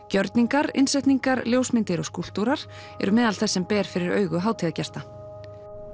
gjörningar innsetningar ljósmyndir og skúlptúrar eru meðal þess sem ber fyrir augu hátíðargesta